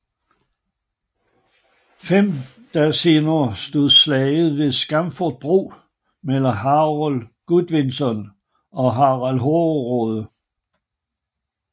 Fem dage senere stod slaget ved Stamford bro mellem Harold Godvinson og Harald Hårderåde